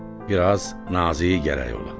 Bir az nazik gərək ola.